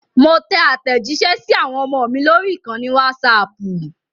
Mo tẹ àtẹ̀jísẹ́ sí àwọn ọmọ mi lórí ìkànnì Wásaapù